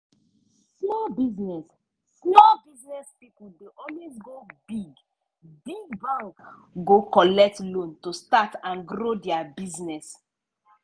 small business small business pipo dey always go big-big bank go collect loan to start and grow dia business.